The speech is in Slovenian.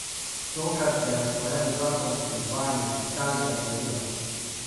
Tokrat je na sporedu zakon o izvajanju fiskalnega pravila.